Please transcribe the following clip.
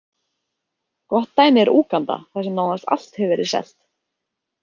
Gott dæmi er Úganda þar sem nánast allt hefur verið selt.